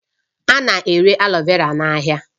A na-ere aloe vera n'ahịa